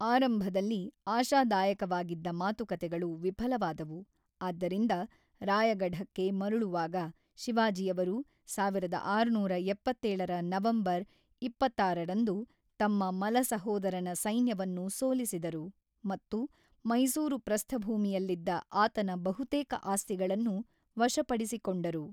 ಆರಂಭದಲ್ಲಿ ಆಶಾದಾಯಕವಾಗಿದ್ದ ಮಾತುಕತೆಗಳು ವಿಫಲವಾದವು, ಆದ್ದರಿಂದ ರಾಯಗಢಕ್ಕೆ ಮರಳುವಾಗ, ಶಿವಾಜಿಯವರು ಸಾವಿರದ ಆರುನೂರ ಎಪ್ಪತ್ತೇಳರ ನವೆಂಬರ್ ಇಪ್ಪತ್ತಾರರಂದು ತಮ್ಮ ಮಲ-ಸಹೋದರನ ಸೈನ್ಯವನ್ನು ಸೋಲಿಸಿದರು ಮತ್ತು ಮೈಸೂರು ಪ್ರಸ್ಥಭೂಮಿಯಲ್ಲಿದ್ದ ಆತನ ಬಹುತೇಕ ಆಸ್ತಿಗಳನ್ನು ವಶಪಡಿಸಿಕೊಂಡರು.